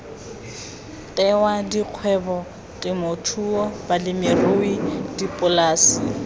tewa dikgwebo temothuo balemirui dipolase